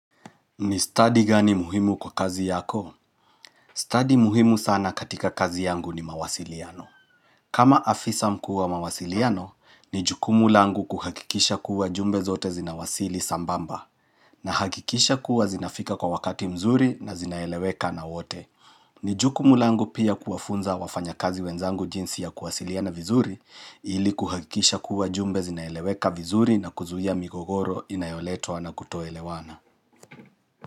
Ni study gani muhimu kwa kazi yako? Study muhimu sana katika kazi yangu ni mawasiliano. Kama afisa mkuwa mawasiliano, ni juku mulangu kuhakikisha kuwa jumbe zote zinawasili sambamba. Na hakikisha kuwa zinafika kwa wakati mzuri na zinaeleweka na wote. Ni jukumu langu pia kuafunza wafanya kazi wenzangu jinsi ya kuwasiliana vizuri ili kuhakikisha kuwa jumbe zinaeleweka vizuri na kuzuia migogoro inayoletoa na kutoelewana.